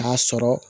K'a sɔrɔ